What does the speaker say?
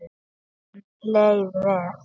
Henni leið vel.